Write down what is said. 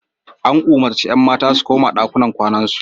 An umurci 'yan mata su koma ɗakunan kwanar su.